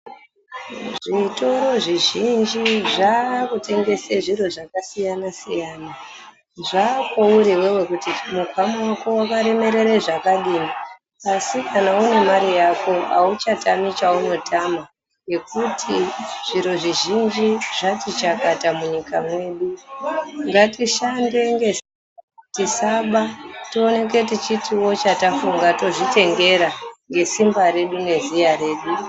Zvitoro zvizhinji zvakutengese zviro zvakasiyana siyana. Zvakweuri iwewe kuri mukwama wako wakaremerere zvakadini asi kana unemare yako awuchatami cheunotama ngekuti zviro zvizhinji zvati chakata munyika mwedu. Ngatishande ngesimba tisaba towoneke kuti chatafunga tozvitengera ngesimba redu ngeziya redu.